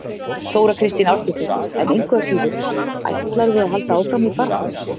Þóra Kristín Ásgeirsdóttir: En engu að síður, ætlarðu að halda áfram baráttunni?